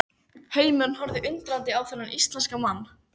Heimurinn horfði undrandi á þennan íslenska mann.